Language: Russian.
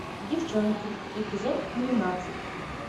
девчонки эпизод двенадцать